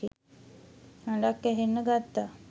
හඬක්‌ ඇහෙන්න ගත්තා.